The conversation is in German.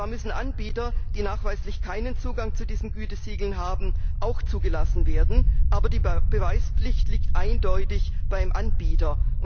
Zwar müssen Anbieter, die nachweislich keinen Zugang zu diesen Gütesiegeln haben, auch zugelassen werden, aber die Beweispflicht liegt eindeutig beim Anbieter.